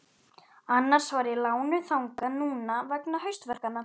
Annars var ég lánuð þangað núna vegna haustverkanna.